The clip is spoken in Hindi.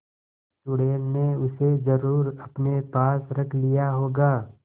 चुड़ैल ने उसे जरुर अपने पास रख लिया होगा